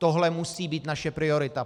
Tohle musí být naše priorita.